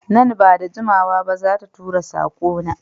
Nan ba da jimawa ba za ta tura sako na